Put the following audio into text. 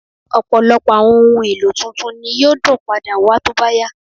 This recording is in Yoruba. Ọ̀pọ̀lọpọ̀ àwọn ohun èlò tuntun ni yóò dún padà wà tó bá yá